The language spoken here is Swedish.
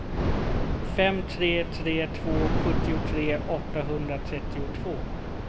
fem tre tre två sjuttiotre åttahundratrettiotvå